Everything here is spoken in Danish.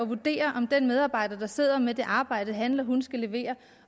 vurdere om den medarbejder der sidder med det arbejde han eller hun skal levere